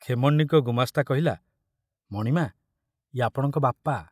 ଖେମଣ୍ଡିଙ୍କ ଗୁମାସ୍ତା କହିଲା, ମଣିମା, ଏ ଆପଣଙ୍କ ବାପା।